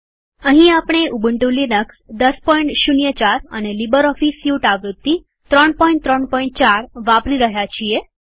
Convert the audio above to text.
અહીં આપણે Ubuntu Linux ૧૦૦૪ અને લીબરઓફીસ સ્યુટ આવૃત્તિ ૩૩૪ વાપરી રહ્યા છીએ